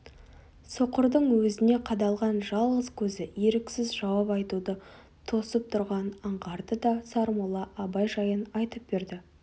соқырдың өзіне қадалған жалғыз көзі еріксіз жауап айтуды тосып тұрғанын аңғарды да сармолла абай жайын айтып берді